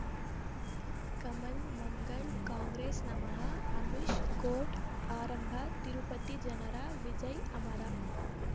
ಕಮಲ್ ಮಂಗಳ್ ಕಾಂಗ್ರೆಸ್ ನಮಃ ಅಮಿಷ್ ಕೋರ್ಟ್ ಆರಂಭ ತಿರುಪತಿ ಜನರ ವಿಜಯ್ ಅಮರ